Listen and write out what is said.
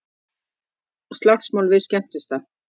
Slagsmál við skemmtistað